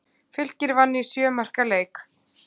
Fylkir vann í sjö marka leik